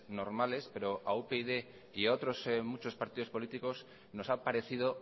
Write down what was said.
normales pero a upyd y a otros muchos partidos políticos nos ha parecido